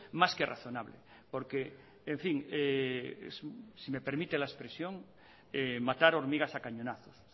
más que razonable porque en fin si me permite la expresión matar hormigas a cañonazos